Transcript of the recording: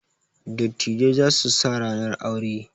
Dattijai za su sa ranar aure.